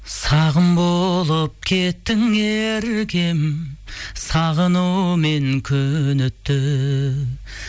сағым болып кеттің еркем сағынумен күні түн